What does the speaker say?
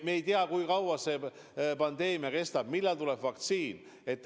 Me ei tea, kui kaua see pandeemia kestab, millal tuleb vaktsiin.